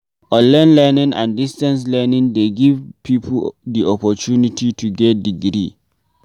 Online learning and distance learning dey give pipo di oppotunity to get degree